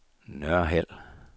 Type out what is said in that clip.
Nørhald